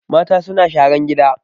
Mata suna sharan gina